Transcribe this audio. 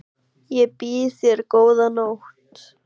Ég býð þér góða nótt.